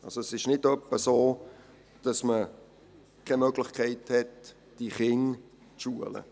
Es ist also nicht etwa so, dass man keine Möglichkeit hat, diese Kinder zu schulen.